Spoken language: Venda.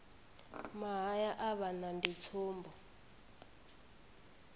mahaya a vhana ndi tsumbo